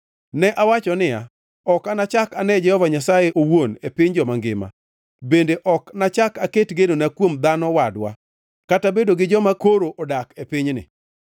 Ne awacho niya, “Ok anachak ane Jehova Nyasaye owuon, e piny joma ngima; bende ok anachak aket genona kuom dhano wadwa, kata bedo gi joma koro odak e pinyni.